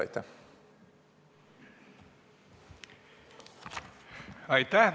Aitäh!